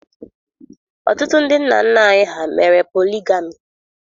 Ọtụtụ ndị nna nna anyị mere poligami